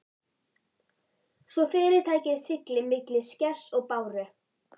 svo fyrirtækið sigli milli skers og báru.